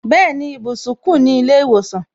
Bẹẹni, ibùsùn ku ni ile iwosan